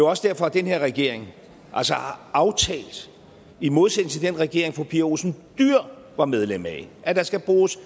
også derfor at den her regering altså har aftalt i modsætning til den regering fru pia olsen dyhr var medlem af at der skal bruges